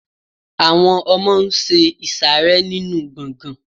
àwọn ọmọ n ṣe ìsàrẹ́ nínu gbọgán